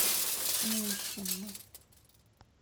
мухину